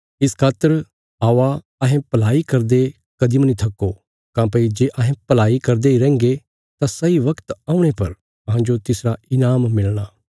इस खातर औआ अहें भलाई करदे कदीं मनी थक्को काँह्भई जे अहें भलाई करदे इ रैहन्गे तां सही बगत औणे पर अहांजो तिसरा ईनाम मिलणा